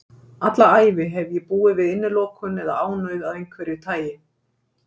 Alla ævi hef ég búið við innilokun eða ánauð af einhverju tagi.